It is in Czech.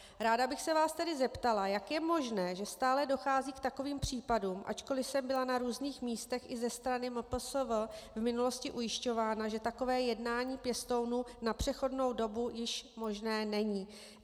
Ráda bych se vás tedy zeptala, jak je možné, že stále dochází k takovým případům, ačkoliv jsem byla na různých místech i ze strany MPSV v minulosti ujišťována, že takové jednání pěstounů na přechodnou dobu již možné není.